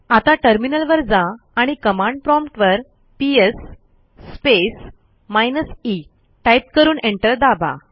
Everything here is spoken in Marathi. आता टर्मिनलवर जा आणि कमांड प्रॉम्प्ट वरps स्पेस माइनस ई टाईप करून एंटर दाबा